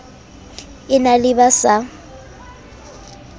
e na le ba sa